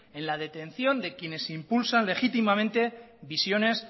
en la detención de quiénes impulsan legítimamente visiones